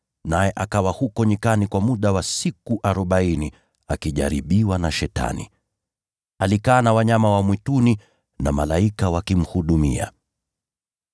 naye akawa huko nyikani kwa muda wa siku arobaini, akijaribiwa na Shetani. Alikaa na wanyama wa mwituni, nao malaika wakamhudumia.